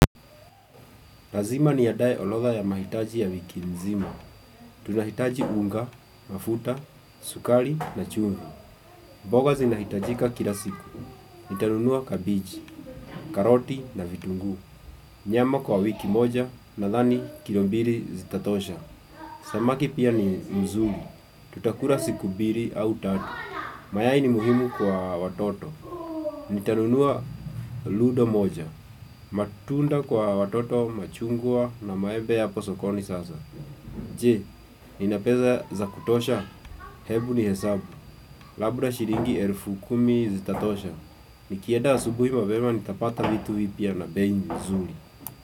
Lazima niandae orodha ya mahitaji ya wiki mzima Tunahitaji unga mafuta sukari na chumvi mboga zinahitajika kila siku Nitanunua kabeji karoti na vitunguu Nyama kwa wiki moja nadhani kilo mbili zitatosha Samaki pia ni nzuri Tutakula siku mbili au tatu mayai ni muhimu kwa watoto Nitanunua ludo moja matunda kwa watoto machungwa na maembe yapo sokoni sasa Je, nina pesa za kutosha hebu nihesabu labda shilingi elfu kumi zitatosha nikienda asubuhi mapema nitapata vitu vipya na bei nzuri.